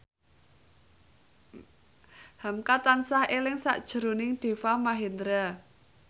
hamka tansah eling sakjroning Deva Mahendra